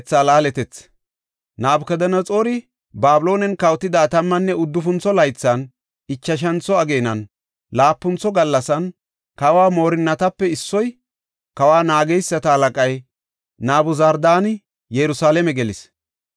Nabukadanaxoori Babiloonen kawotida tammanne uddufuntho laythan, ichashantho ageenan, laapuntho gallasan, kawa moorinatape issoy, kawa naageysata halaqay Nabuzardaani Yerusalaame gelis.